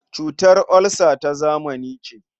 Cutar olsa ta zamani ce.